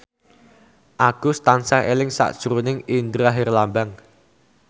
Agus tansah eling sakjroning Indra Herlambang